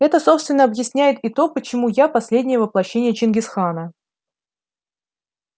это собственно объясняет и то почему я последнее воплощение чингис хана